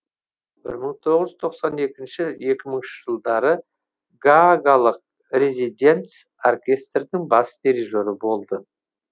мың тоғыз жүз тоқсан екінші екі мыңыншы жылдары гаагалық резиденц оркестрдің бас дерижері болды